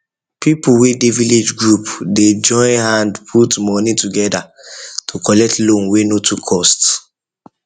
people wey dey village group dey join hand put money together to collect loan wey no too cost